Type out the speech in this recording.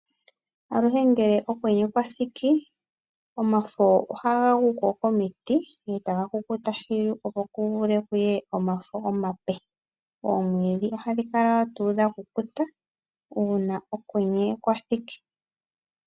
Aluhe ngele okwenye kwathiki omafo ohaga guko komiti etaga kukuta thilu opo kuvule kuye omafo omape, oomwiidhi ohadhi kala wo tuu dhakukuta uuna okwenye kwa thiki.